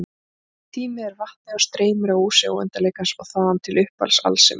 Tíminn er vatnið og streymir að ósi óendanleikans og þaðan til upphafs alls sem er.